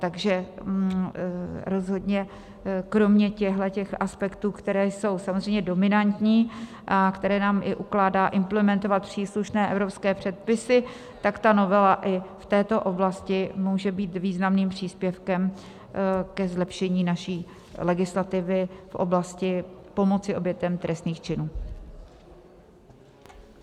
Takže rozhodně kromě těchhle aspektů, které jsou samozřejmě dominantní a které nám i ukládá implementovat příslušné evropské předpisy, tak ta novela i v této oblasti může být významným příspěvkem ke zlepšení naší legislativy v oblasti pomoci obětem trestných činů.